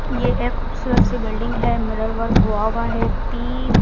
यह एक खूबसूरत सी बिल्डिंग है मिरर वर्क हुआ उआ है पी --